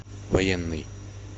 военный